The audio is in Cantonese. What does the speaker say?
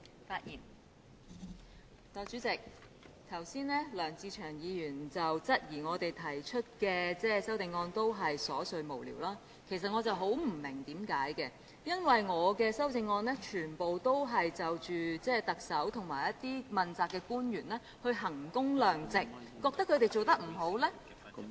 代理主席，梁志祥議員剛才質疑我們的修正案都是瑣碎無聊，其實我十分不明白，因為我的修正案全部都是就特首和一些問責官員來衡工量值，覺得他們做得不好......